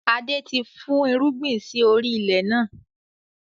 Adé ti fún irúgbìn sì orí ilẹ̀ náà.